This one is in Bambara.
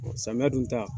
Samiya dun ta